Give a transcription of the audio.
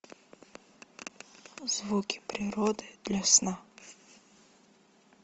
звуки природы для сна